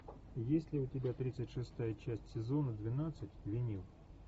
есть ли у тебя тридцать шестая часть сезона двенадцать винил